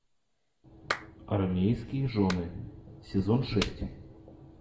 армейские жены сезон шесть